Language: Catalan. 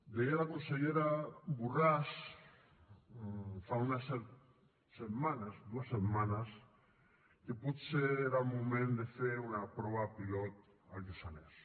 deia la consellera borràs fa unes setmanes dues setmanes que potser era el moment de fer una prova pilot al lluçanès